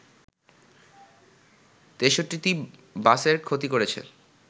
৬৩টি বাসের ক্ষতি করেছে